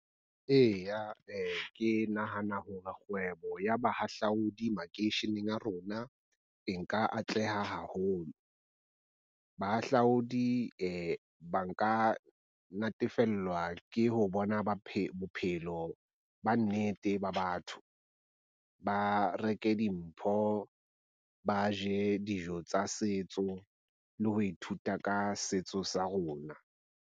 Eya ke nahana hore kgwebo ya bahahlaodi makeisheneng a rona e nka atleha haholo. Bahahlaodi ba nka natefellwa ke ho bona bophelo ba nnete ba batho. Ba reke dimpho, ba je dijo tsa setso le ho ithuta ka setso sa rona.